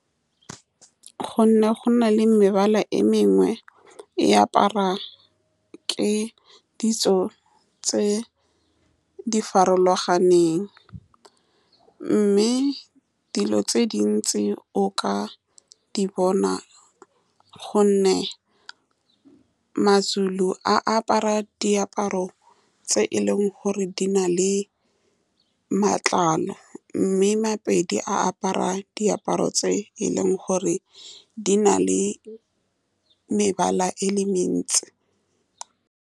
Gonne go na le mebala e mengwe e aparwa ke ditso tse di farologaneng, mme dilo tse dintsi o ka di bona, ka gonne maZulu a apara diaparo tse e leng gore di na le matlalo, mme Mapedi a apara diaparo tse e leng gore di na le mebala e le mentsi.